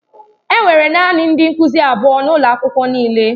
Enwere naanị ndị nkuzi abụọ n'ụlọ akwụkwọ niile.